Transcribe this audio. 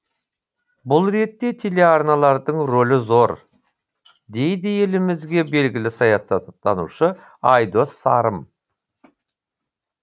бұл ретте телеарналардың ролі зор дейді елімізге белгілі саясаттанушы айдос сарым